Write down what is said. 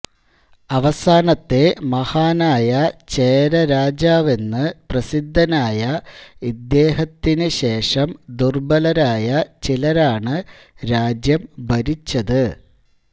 അവസാനത്തെ മഹാനായ ചേരരാജാവെന്നു പ്രസിദ്ധനായ ഇദ്ദേഹത്തിനുശേഷം ദുർബലരായ ചിലരാണ് രാജ്യം ഭരിച്ചത്